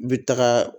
U bɛ taga